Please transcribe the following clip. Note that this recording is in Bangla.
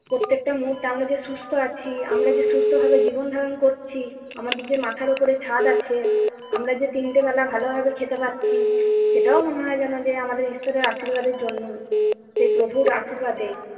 প্রত্যেকটা মুহূর্তে আমরা যে সুস্থ আছি, আমরা যে সুস্থভাবে জীবন ধারণ করছি, আমাদের যে মাথার উপরে ছাদ আছে, আমরা যে তিনটে বেলা ভালোভাবে খেতে পারছি, সেটাও মনে হয় যে আমাদের ঈশ্বরের আশীর্বাদের জন্যই। সে প্রভুর আশীর্বাদে।